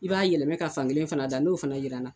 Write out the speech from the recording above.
I b'a yɛlɛmɛ ka fan kelen fana da, n'o fana jira na